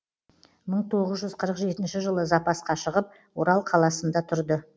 мың тоғыз жүз қырық жетінші жылы запасқа шығып орал қаласында тұрды